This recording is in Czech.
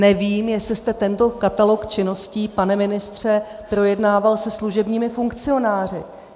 Nevím, jestli jste tento katalog činností, pane ministře, projednával se služebními funkcionáři.